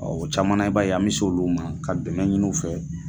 Ɔ camana i b'a ye an bɛ sɛ olu ma ka dɛmɛ ɲininw fɛ.